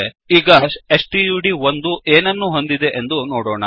ಈಗ ಸ್ಟಡ್1 ಏನನ್ನು ಹೊಂದಿದೆ ಎಂದು ನೋಡೋಣ